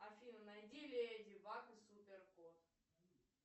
афина найди леди баг и суперкот